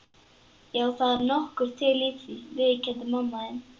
Já, það er nokkuð til í því, viðurkenndi mamma þín.